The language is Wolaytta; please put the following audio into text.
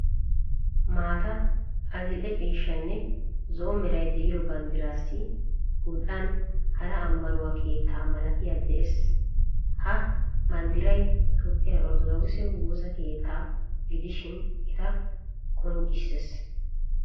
Maataa, adil'ee ciishshaanne zo'o meray deiyo banddirassi gul'an hara amanuwaa keettaa malaatay de'ees Ha banddiray toophphiyaa orttodokise woosaa keettaaga gidishin etta qonccisees.